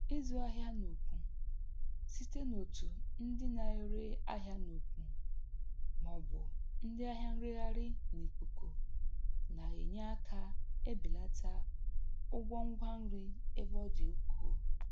Ịzụ ahịa n'ukwu site n'otu ndị na-ere ahịa n'ukwu ma ọ bụ ndị ahịa nreghaghị n'ikuku na-enye aka ebelata ụgwọ ngwa nri ebe ọ dị ukwuu.